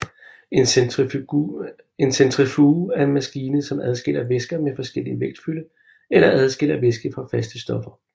En centrifuge er en maskine som adskiller væsker med forskellig vægtfylde eller adskiller væske fra faste stoffer